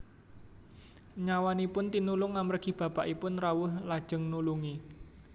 Nyawanipun tinulung amargi bapakipun rawuh lajeng nulungi